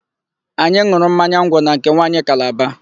Anyị n̄ụrụ mmanya ngwọ na nke nwanyị Kalaba.